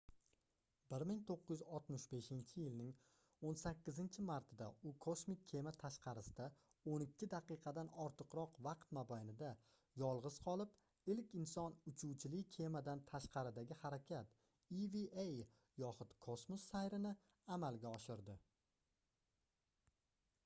1965-yilning 18-martida u kosmik kema tashqarisida o'n ikki daqiqadan ortiqroq vaqt mobaynida yolg'iz qolib ilk inson uchuvchili kemadan tashqaridagi harakat eva yoxud kosmos sayri"ni amalga oshirdi